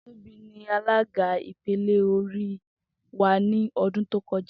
Tobi ni alaga ipele ori wa ni ọdun to kọja.